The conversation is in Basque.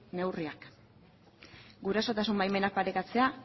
neurriak gurasotasun baimenak parekatzea